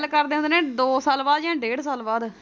ਗੱਲ ਕਰਦੇ ਹੁੰਦੇ ਨੇ ਦੋ ਸਾਲ ਬਾਅਦ ਜਾਂ ਡੇਢ ਸਾਲ ਬਾਅਦ।